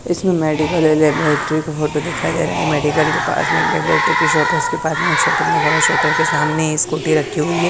इसमें medical laboratory की photo दिखाइए दे रहा है मेडिकल के पास में लैबोरेट्री की शॉप है उसके पास में एक शटर लगा हुआ है शटर के सामने स्कूटी रखी हुई है।